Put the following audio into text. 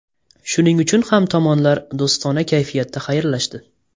Shuning uchun ham tomonlar do‘stona kayfiyatda xayrlashdi.